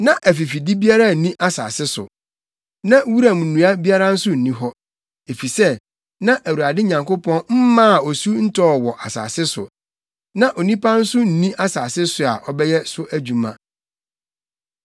Na afifide biara nni asase so, na wuram nnua biara nso nni hɔ. Efisɛ, na Awurade Nyankopɔn mmaa osu ntɔɔ wɔ asase so, na onipa nso nni asase so a ɔbɛyɛ so adwuma.